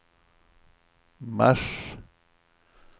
mars